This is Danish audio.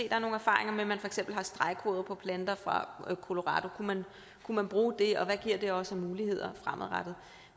er nogle erfaringer med at man for eksempel har stregkoder for planter fra colorado kunne man bruge det og hvad giver det os af muligheder fremadrettet